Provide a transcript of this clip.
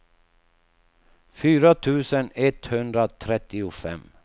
fyra tusen etthundratrettiofem